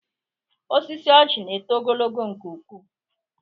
Osisi oji na eto ogologo nke ụkwụ